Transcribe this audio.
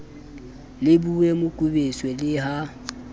le boye mokubetso le ha